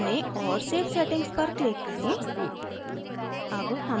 events चुनें और save settings पर click करें